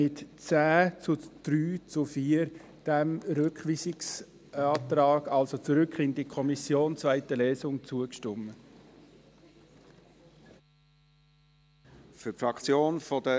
Die GSoK stimmte diesem Rückweisungsantrag, also zurück in Kommission zur zweiten Lesung, mit 10 zu 3 zu 4 Stimmen zu.